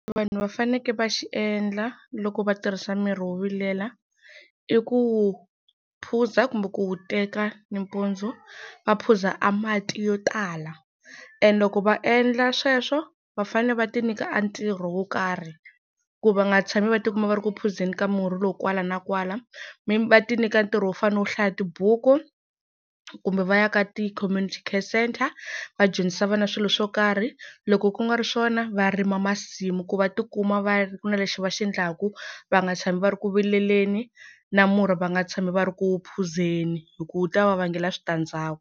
Vanhu va faneke va xi endla loko va tirhisa mirhi wo vilela, i ku wu phuza kumbe ku wu teka nimpundzu va phuza a mati yo tala, and loko va endla sweswo va fanele va ti nyika a ntirho wo karhi ku va nga tshami va tikuma va ri ku phuzeni ka murhi lowu kwala na kwala. Va ti nyika ntirho wo fana na wo hlaya tibuku, kumbe va ya ka ti-community care centre va dyondzisa vana swilo swo karhi. Loko ku nga ri swona va rima masimu ku va tikuma va ku na lexi va xi endlaka va nga tshami va ri ku vileleni na murhi va nga tshami va ri ku wu phuzeni hi ku wu ta va vangela switandzhaku.